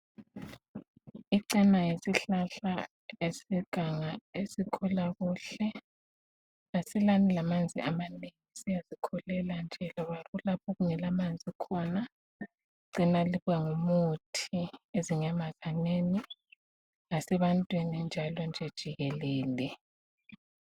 Icena yisihlahla seganga esikhula kuhle. Asilani lamanzi amanengi siyazikhulela nje loba okungelamanzi khona. Icena libangumuthi ezinyamazaneni lasebantwini njalo nje jikelele.